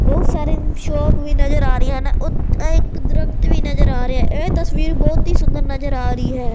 ਬਹੁਤ ਸਾਰੇ ਸ਼ੋਪ ਵੀ ਨਜ਼ਰ ਆ ਰਹੇ ਹਨ ਉਹ ਇੱਕ ਦਰਖਤ ਵੀ ਨਜ਼ਰ ਆ ਰਿਹਾ ਐ ਇਹ ਤਸਵੀਰ ਬਹੁਤ ਹੀ ਸੁੰਦਰ ਨਜ਼ਰ ਆ ਰਹੀ ਹੈ।